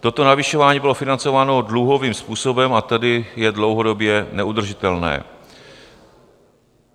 Toto navyšování bylo financováno dluhovým způsobem, a tedy je dlouhodobě neudržitelné.